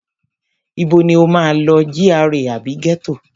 Ibo ni o máa lọ, GRA àbí ghetto?